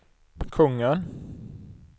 kungen